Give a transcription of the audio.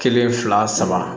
Kelen fila saba